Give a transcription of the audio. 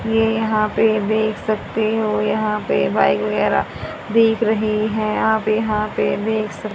ये यहां पे देख सकते हो यहां पे बाइक वगैरा दिख रही है आप यहां पे देख स--